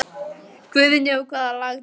Guðný: Og hvaða lag tókstu?